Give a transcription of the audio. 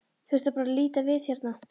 Þurfti bara að líta við hérna.